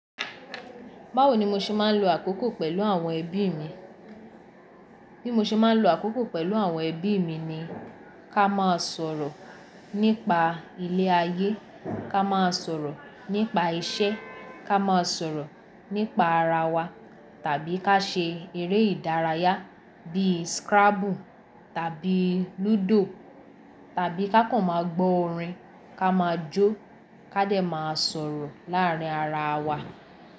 Báwo ni mo ṣe máa ń lo àkókò pẹ̀lú àwọn ẹbí mi? Bí mo ṣe máa ń lo àkókò pẹ̀lú àwọn ẹbí mi ni ká máa sọ̀rọ̀ nípa ilé ayé, ká máa sọ̀rọ̀ nípa isẹ́, ká máa sọ̀rọ̀ nípa ara wa tàbí ká ṣe eré ìdárayá bíi scrabble tàbí ludo tàbí ká kàn máa gbọ́ orin, ká máa jó ká dẹ̀ máa sọ̀rọ̀ láàárín ara wa.